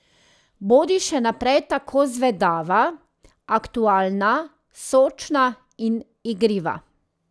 Bodi še naprej tako zvedava, aktualna, sočna in igriva.